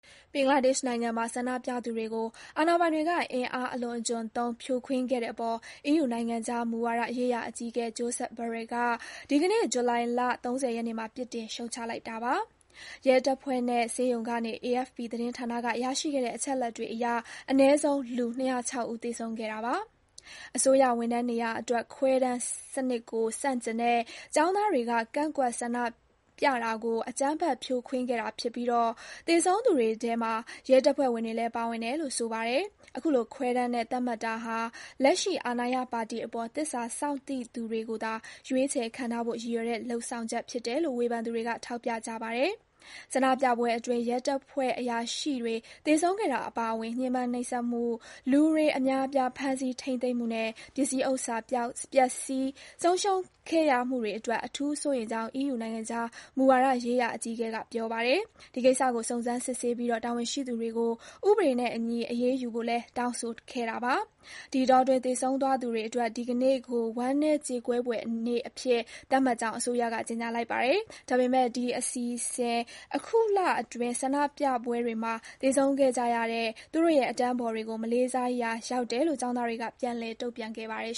ဘင်္ဂလားဒေ့ရှ်နိုင်ငံမှာ ဆန္ဒပြသူတွေကို အာဏာပိုင်တွေက အင်အားအလွန်အကျွံသုံး ဖြိုခွင်းခဲ့တဲ့အပေါ် EU နိုင်ငံခြားမူဝါဒရေးရာအကြီးအကဲ Josep Borrell က ဒီကနေ့ ဇူလိုင် ၃၀ ရက်နေ့မှာ ပြစ်တင် ရှုတ်ချလိုက်ပါတယ်။ ရဲတပ်ဖွဲ့နဲ့ ဆေးရုံကနေ AFP သတင်းဌာနက ရရှိခဲ့တဲ့ အချက်အလက်တွေအရ အနည်းဆုံး လူ ၂၀၆ ဦး သေဆုံးခဲ့တာပါ။ အစိုးရဝန်ထမ်းနေရာအတွက် ခွဲတမ်းစနစ်ကို ဆန့်ကျင်တဲ့ ကျောင်းသားတွေက ကန့်ကွက်ဆန္ဒပြတာကို အကြမ်းဖက် ဖြိုခွင်းခဲ့တာဖြစ်ပြီး သေဆုံးသူတွေထဲ ရဲတပ်ဖွဲ့ဝင်တွေလည်း ပါဝင်တယ်လို့ ဆိုပါတယ်။ အခုလို ခွဲတမ်းနဲ့သတ်မှတ်တာဟာ လက်ရှိအာဏာရပါတီအပေါ် သစ္စာစောင့်သိသူတွေကိုသာ ရွေးချယ် ခန့်ထားဖို့ ရည်ရွယ်တဲ့ လုပ်ဆောင်ချက်ဖြစ်တယ်လို့ ဝေဖန်သူတွေက ထောက်ပြကြပါတယ်။ ဆန္ဒပြပွဲအတွင်း ရဲတပ်ဖွဲ့အရာရှိတွေ သေဆုံးခဲ့တာအပါအဝင် ညှဉ်းပန်းနှိပ်စက်မှု၊ လူအများအပြား ဖမ်းဆီး ထိန်းသိမ်းမှုနဲ့ ပစ္စည်းဥစ္စာ ပျက်ဆီး ဆုံးရှုံးခဲ့ရမှုတွေအတွက် အထူးစိုးရိမ်ကြောင်း EU နိုင်ငံခြားမူဝါဒရေးရာအကြီးအကဲ Borrell က ပြောပါတယ်။ ဒီကိစ္စကို စုံစမ်းစစ်ဆေးပြီး တာဝန်ရှိသူတွေကို ဥပဒေနဲ့အညီ အရေးယူဖို့လည်း တောင်းဆိုခဲ့တာပါ။ ဒီအတောအတွင်း သေဆုံးသွားသူတွေအတွက် ဒီကနေ့ကို ဝမ်းနည်း ကြေကွဲဖွယ်နေ့အဖြစ် သတ်မှတ်ကြောင်း အစိုးရက ကြေညာလိုက်ပါတယ်။ ဒါပေမယ့် ဒီအစီအစဉ်ဟာ အခုလအတွင်း ဆန္ဒပြပွဲတွေမှာ သေဆုံးခဲ့ကြရတဲ့ သူတို့ရဲ့ အတန်းဖော်တွေကို မလေးစားရာရောက်တယ်လို့ ကျောင်းသားတွေက ပြန်လည် တုံ့ပြန်ခဲ့ပါတယ်